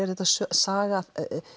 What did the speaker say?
saga